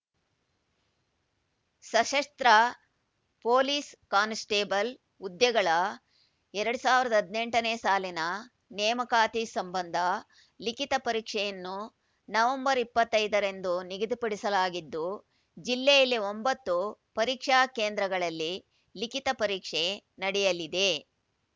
ಸಶಸ್ತ್ರ police constable ಹುದ್ದೆಗಳ ಎರಡ್ ಸಾವಿರದ ಹದಿನೆಂಟನೇ ಸಾಲಿನ ನೇಮಕಾತಿ ಸಂಬಂಧ ಲಿಖಿತ ಪರೀಕ್ಷೆಯನ್ನು ನವೆಂಬರ್ ಇಪ್ಪತ್ತೈದರಂದು ನಿಗದಿಪಡಿಸಲಾಗಿದ್ದು ಜಿಲ್ಲೆಯಲ್ಲಿ ಒಂಬತ್ತು ಪರೀಕ್ಷಾ ಕೇಂದ್ರಗಳಲ್ಲಿ ಲಿಖಿತ ಪರೀಕ್ಷೆ ನಡೆಯಲಿದೆ